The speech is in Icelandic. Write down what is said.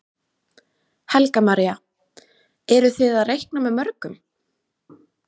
Helga María: Eru þið að reikna með mörgum?